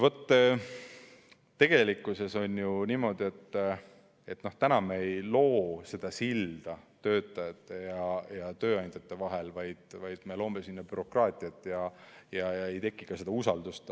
Tegelikkuses on ju niimoodi, et täna me ei loo seda silda töötajate ja tööandjate vahel, vaid me loome sinna bürokraatiat ja ei teki ka usaldust.